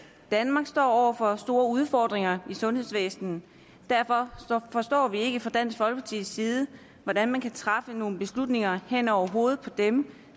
danmark står over for store udfordringer i sundhedsvæsenet derfor forstår vi ikke fra dansk folkepartis side hvordan man kan træffe nogle beslutninger hen over hovedet på dem